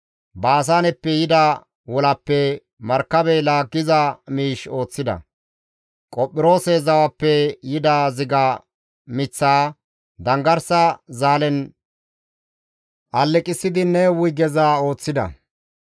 Baasaaneppe yida wolappe markabe laaggiza miish ooththida; Qophiroose zawappe yida ziga miththaa, danggarsa zaalen aleqessidi ne wuygeza ooththida.